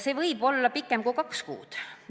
See aeg võib olla pikem kui kaks kuud.